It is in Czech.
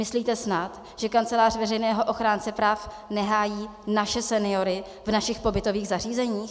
Myslíte snad, že Kancelář veřejného ochránce práv nehájí naše seniory v našich pobytových zařízeních?